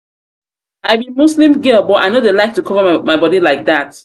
muslim girl but i no dey dey like to cover my body like dat